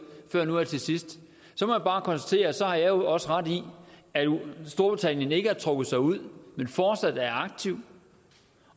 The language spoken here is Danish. før nu her til sidst så må jeg bare konstatere at så har jeg også ret i at storbritannien ikke har trukket sig ud men fortsat er aktive